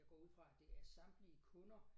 Jeg går ud fra at det er samtlige kunder